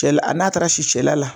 Kɛli n'a taara si cɛla la.